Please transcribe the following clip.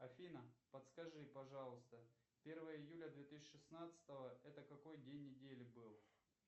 афина подскажи пожалуйста первое июля две тысячи шестнадцатого это какой день недели был